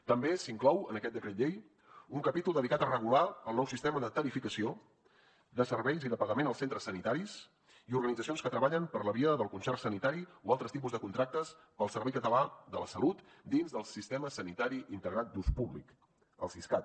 també s’inclou en aquest decret llei un capítol dedicat a regular el nou sistema de tarifació de serveis i de pagament als centres sanitaris i organitzacions que treballen per la via del concert sanitari o altres tipus de contractes per al servei català de la salut dins del sistema sanitari integrat d’ús públic el siscat